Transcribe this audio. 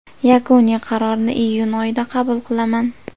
Yakuniy qarorni iyun oyida qabul qilaman.